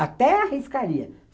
Até arriscaria.